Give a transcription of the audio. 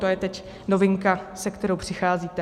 To je teď novinka, se kterou přicházíte.